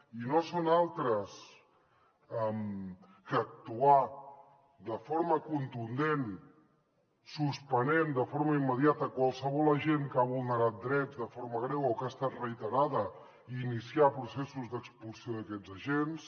i no són altres que actuar de forma contundent suspenent de forma immediata qualsevol agent que ha vulnerat drets de forma greu o que ha estat reiterada i iniciar processos d’expulsió d’aquests agents